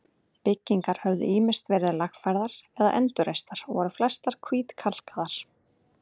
Byggingar höfðu ýmist verið lagfærðar eða endurreistar og voru flestar hvítkalkaðar.